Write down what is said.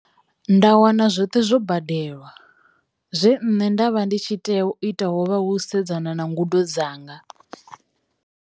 Nda wana zwoṱhe zwo badelwa, zwe nṋe nda vha ndi tshi tea u ita ho vha u sedzana na ngudo dzanga.